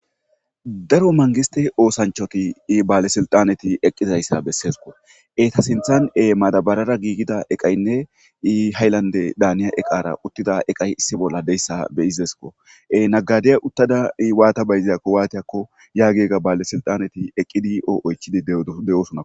Daro mangiste oosanchatinne baalebsiltaneti eqqidayssa bessesko. Eeta sinthan maadabarara giigida eqqida eqaynne haylandedan uttida issi bolla deesko. Nagadeya utta baylizaysa waatiyakko baale siltaaneti yaagiyako eqqidi oychishe deetees.